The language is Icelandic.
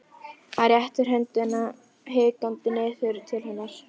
Hann réttir höndina hikandi niður til hennar.